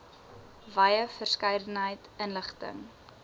wye verskeidenheid inligting